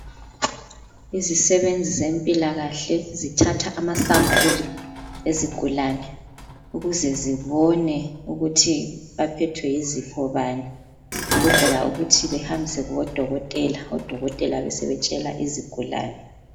Imisebenzi zempilakahle zithatha amasampuli ezigulane ukuze zibone ukuthi baphethwe yizifo bani. Ukwenzela ukuthi behambise kubodokotela ,odokotela besebetshela izigulane